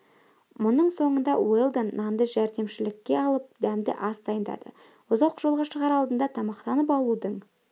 мұның соңында уэлдон нанды жәрдемшілікке алып дәмді ас дайындады ұзақ жолға шығар алдында тамақтанып алудың